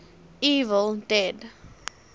evil dead